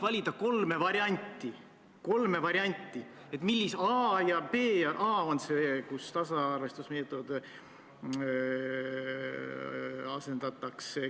Sotsiaalkomisjonis on küll tavapärane praktika, et sihtgruppe puudutavate teemade või eelnõude muudatusettepanekute puhul sihtgruppe kaasatakse.